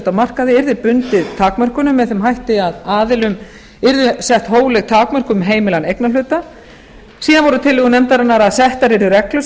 á markaði yrði bundið takmörkunum með þeim hætti að aðilum yrðu sett hófleg takmörk um heimilan eignarhluta síðan voru tillögur nefndarinnar að settar yrðu reglur